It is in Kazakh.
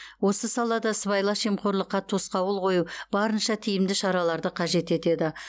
осы салада сыбайлас жемқорлыққа тосқауыл қою барынша тиімді шараларды қажет етеді